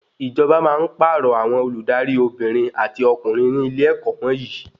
Ìjọba máa ń pàrọ̀ àwọn Olùdarí Obìnrin àti ọkùnrin ní ilé-ẹ̀kọ́ wọnyii